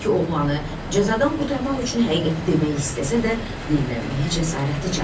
Bekki oğlanı cəzadan qurtarmaq üçün həqiqəti demək istəsə də, dillənməyə cəsarəti çatmadı.